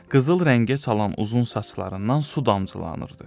Qızıl rəngə çalan uzun saçlarından su damcılanırdı.